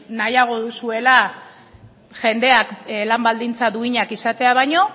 nahiago duzuela jendeak lan baldintza duinak izatea baino